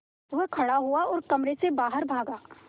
वह खड़ा हुआ और कमरे से बाहर भागा